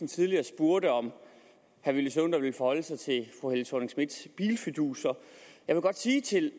tidligere spurgte om han ville forholde sig til fru helle thorning schmidts bilfiduser jeg vil godt sige til